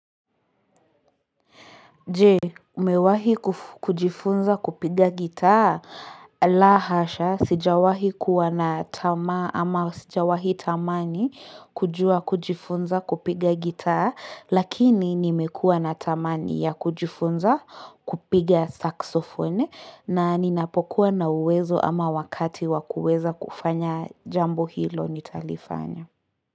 Je umewahi kujifunza kupiga gitaa la hasha sijawahi kuwa na tama ama sijawahi tamani kujua kujifunza kupiga gitaa lakini nimekua na tamani ya kujifunza kupiga saxofone na ninapokuwa na uwezo ama wakati wakuweza kufanya jambo hilo nitalifanya.